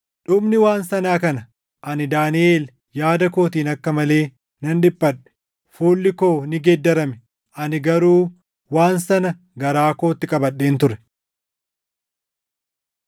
“Dhumni waan sanaa kana. Ani Daaniʼel yaada kootiin akka malee nan dhiphadhe; fuulli koo ni geeddarame; ani garuu waan sana garaa kootti qabadheen ture.”